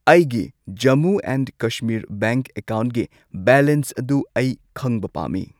ꯑꯩꯒꯤ Jammu and Kashmir bank ꯑꯦꯀꯥꯎꯟꯒꯤ balance ꯑꯗꯨ ꯑꯩ ꯈꯪꯕ ꯄꯥꯝꯃꯤ꯫